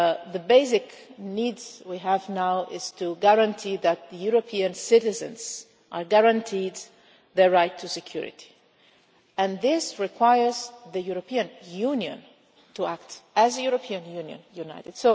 The basic need we have now is to guarantee that the European citizens are guaranteed their right to security, and this requires the European Union to act as a European Union, united.